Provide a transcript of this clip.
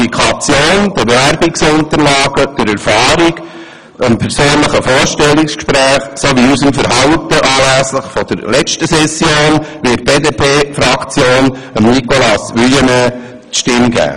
Aufgrund der Qualifikation, der Bewerbungsunterlagen, der Erfahrung, dem persönlichen Vorstellungsgespräch sowie unserem Verhalten anlässlich der letzten Session wird die BDP-Fraktion Nicolas Wuillemin die Stimme geben.